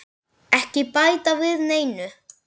Ekki bæta við neinu.